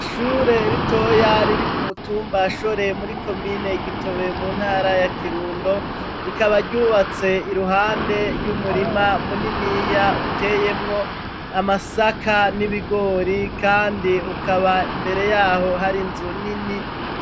Ishure ritoya riri ku mutumba Shore muri komine Gitobe mu ntara ya Kirundo ,rikaba ryubatse iruhande y'umurima muniniya uteyemwo amasaka n'ibigori kandi ukaba imbere yaho hari nzu nini.